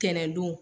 Tɛnɛndon